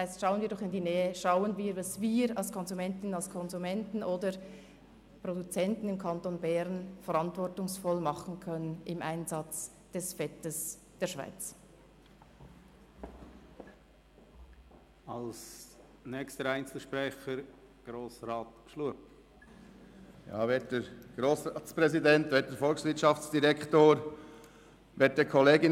Schauen wir doch in die Nähe, und schauen wir, was wir als Konsumentinnen und Konsumenten oder Produzenten im Kanton Bern verantwortungsvoll beim Einsatz des Fetts in der Schweiz tun können.